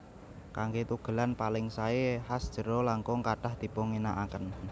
Kanggé tugelan paling saé has jero langkung kathah dipunginakaken